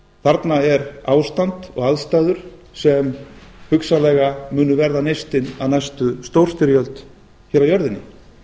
þarna er ástand og aðstæður sem hugsanlega munu verða neistinn að næstu stórstyrjöld á jörðinni